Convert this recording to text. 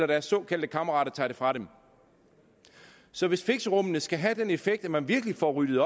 deres såkaldte kammerater tager det fra dem så hvis fixerummene skal have den effekt at man virkelig får ryddet